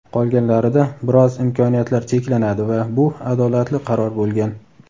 qolganlarida biroz imkoniyatlar cheklanadi va bu adolatli qaror bo‘lgan.